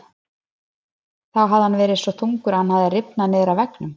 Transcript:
Þá hafði hann verið svo þungur að hann hafði rifnað niður af veggnum.